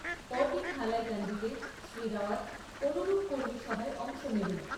পরদিন হাইলাকান্দিতে শ্রী রাওযাত অনুরূপ কর্মী সভায় অংশ নেবেন।